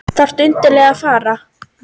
Þarftu endilega að fara?